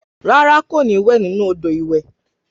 Rárá kò ní wẹ nínú odò ìwẹ̀